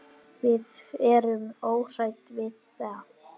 Við erum óhrædd við það.